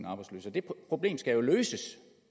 arbejdsløse det problem skal jo løses